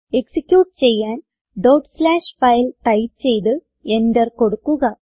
execute ചെയ്യാൻ dot slash file file type ചെയ്ത് enter കൊടുക്കുക